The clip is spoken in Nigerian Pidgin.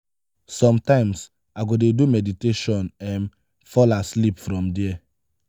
sometimes i go dey do meditation um fall asleep from there.